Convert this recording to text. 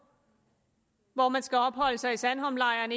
hvor man skal opholde sig i sandholmlejren